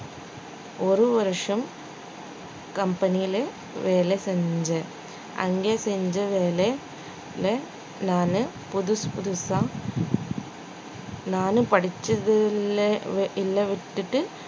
ஒரு வருஷம் company லே வேலை செஞ்சேன் அங்கே செஞ்ச வேலையில நானு புதுசு புதுசா நானும் படிச்சது இல்லை விட்டுட்டு